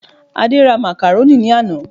Adé ra Macaroni ní àná